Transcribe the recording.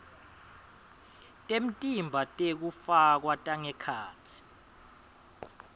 temtimba tekufakwa tangekhatsi